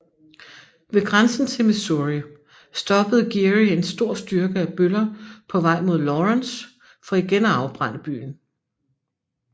Ved grænsen til Missouri stoppede Geary en stor styrke af bøller på vej mod Lawrence for igen at afbrænde byen